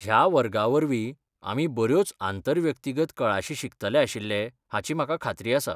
ह्या वर्गावरवीं आमी बऱ्योच आंतर व्यक्तिगत कळाशी शिकतले आशिल्ले हाची म्हाका खात्री आसा.